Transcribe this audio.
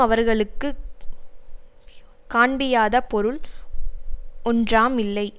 அவர்களுக்கு காண்பியாத பொருள் ஒன்றாம் இல்லை